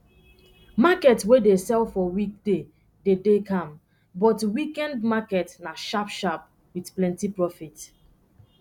market wey dey sell for weekday de dey calm but weekend market na sharp sharp with plenty profit